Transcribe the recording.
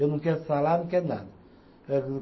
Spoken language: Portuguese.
Eu não quero salário, não quero nada.